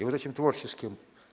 и вот этим творческим